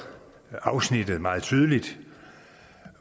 afsnittet meget tydeligt